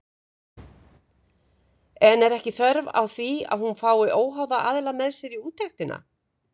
En er ekki þörf á því að hún fái óháða aðila með sér í úttektina?